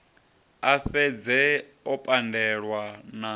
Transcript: a fhedze o pandelwa na